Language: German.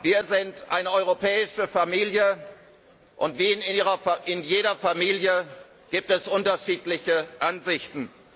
Wir sind eine europäische Familie, und wie in jeder Familie gibt es unterschiedliche Ansichten.